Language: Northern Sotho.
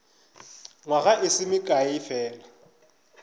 nywaga e se mekae fela